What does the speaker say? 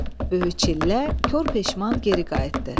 Böyük çillə kor peşman geri qayıtdı.